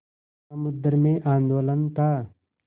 समुद्र में आंदोलन था